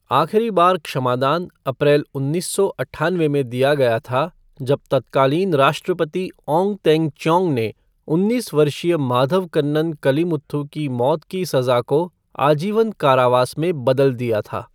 आखिरी बार क्षमादान अप्रैल उन्नीस सौ अट्ठानवे में दिया गया था जब तत्कालीन राष्ट्रपति ओंग तेंग च्योंग ने उन्नीस वर्षीय माथवकन्नन कलीमुथु की मौत की सजा को आजीवन कारावास में बदल दिया था।